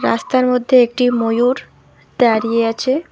রাস্তার মধ্যে একটি ময়ূর দাঁড়িয়ে আছে।